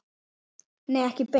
Nei, ekki beint.